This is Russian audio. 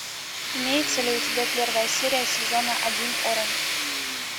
имеется ли у тебя первая серия сезона один оранж